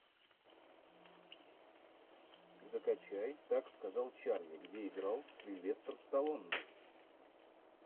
закачай так сказал чарли где играл сильвестр сталлоне